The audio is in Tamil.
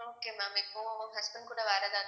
okay ma'am இப்போ husband கூட வேற ஏதாவது